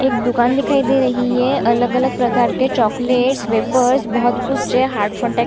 एक दुकान दिखाई दे रही है अलग-अलग प्रकार के चॉकलेट्स वेपर्स बहुत कुछ है हार्टफोटेक्स --